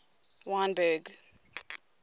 wynberg